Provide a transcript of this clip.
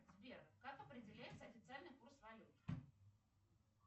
сбер как определяется официальный курс валют